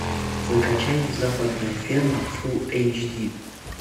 закачай западная ферма фул эйч ди